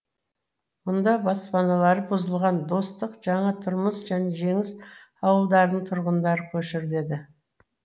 мұнда баспаналары бұзылған достық жаңа тұрмыс және жеңіс ауылдарының тұрғындары көшіріледі